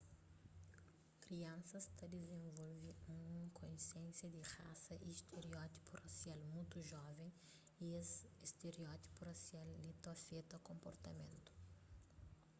kriansas ta dizenvolve un konsiénsia di rasa y stereótipu rasial mutu joven y es stereótipus rasial li ta afeta konportamentu